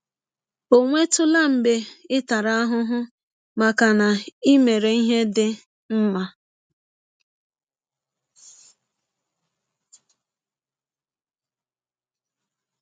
Ọ̀ nwetụla mgbe ị tara ahụhụ maka na i mere ihe dị mma?